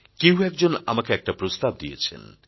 কেউ একজন আমাকে একটা প্রস্তাব দিয়েছেন